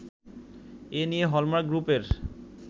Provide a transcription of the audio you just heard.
এ নিয়ে হলমার্ক গ্রুপের